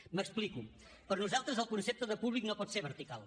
m’explico per nosaltres el concepte de públic no pot ser vertical